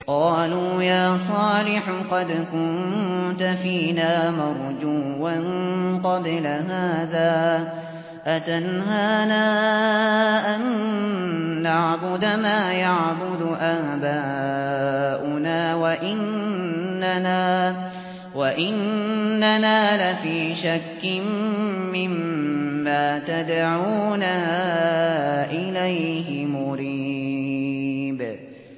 قَالُوا يَا صَالِحُ قَدْ كُنتَ فِينَا مَرْجُوًّا قَبْلَ هَٰذَا ۖ أَتَنْهَانَا أَن نَّعْبُدَ مَا يَعْبُدُ آبَاؤُنَا وَإِنَّنَا لَفِي شَكٍّ مِّمَّا تَدْعُونَا إِلَيْهِ مُرِيبٍ